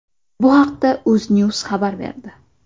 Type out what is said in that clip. Bu haqda UzNews xabar berdi.